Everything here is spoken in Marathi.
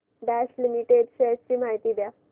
बॉश लिमिटेड शेअर्स ची माहिती द्या